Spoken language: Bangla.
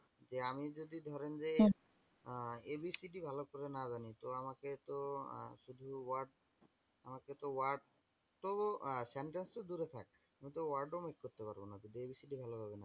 যে আমি যদি ধরেন যে abcd ভালো করে না জানি তো আমাকেতো শুধু word তো আমাকে তো word তো sentence তো দূরে থাক আমি তো word ও match করতে পারবনা যদি abcd ভালো ভাবে না জানি।